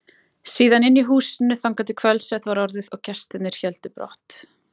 Síðan inni í húsinu þangað til kvöldsett var orðið og gestirnir héldu brott.